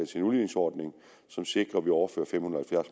til en udligningsordning som sikrer at vi overfører fem hundrede